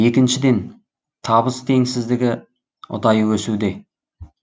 екіншіден табыс теңсіздігі ұдайы өсуде